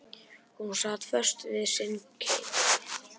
Hún sat föst við sinn keip.